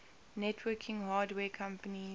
networking hardware companies